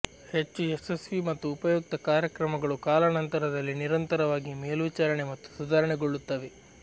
ಹೆಚ್ಚು ಯಶಸ್ವಿ ಮತ್ತು ಉಪಯುಕ್ತ ಕಾರ್ಯಕ್ರಮಗಳು ಕಾಲಾನಂತರದಲ್ಲಿ ನಿರಂತರವಾಗಿ ಮೇಲ್ವಿಚಾರಣೆ ಮತ್ತು ಸುಧಾರಣೆಗೊಳ್ಳುತ್ತವೆ